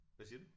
Hvad siger du?